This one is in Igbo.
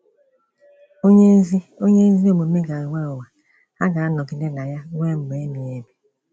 Onye ezi Onye ezi omume ga-enwe ụwa, ha ga-anọgide na ya ruo mgbe ebighị ebi.